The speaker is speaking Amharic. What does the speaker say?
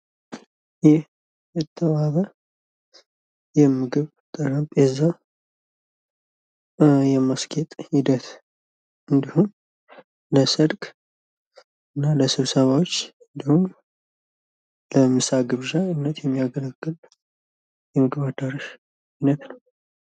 ይህ የተዋበ የምግብ ጠረጴዛ የማስጌጥ ሂደት ለሰርግ ወይም ለስብሰባዎች ምሳ ግብዣ የሚያገለግል ነው።